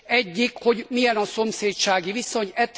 Egyik, hogy milyen a szomszédsági viszony.